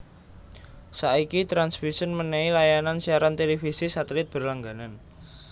Saiki Transvision mènèhi layanan siaran televisi satelit berlangganan